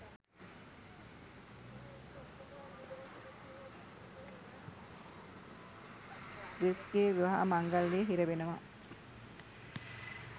ග්‍රිෆ්ගෙ විවාහ මංගල්‍යයෙ හිරවෙනවා